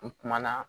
N kumana